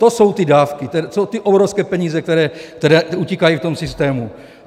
To jsou ty dávky, to jsou ty obrovské peníze, které utíkají v tom systému.